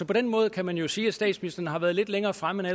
på den måde kan man jo sige at statsministeren har været lidt længere fremme